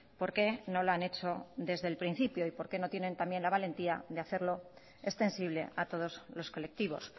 por qué no lo han hecho desde el principio y por qué no tienen también la valentía de hacerlo extensible a todos los colectivos